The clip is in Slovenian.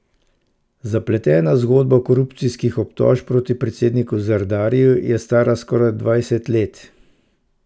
Zapletena zgodba korupcijskih obtožb proti predsedniku Zardariju je stara skoraj dvajset let.